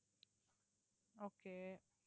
okay